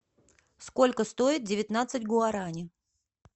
сколько стоит девятнадцать гуарани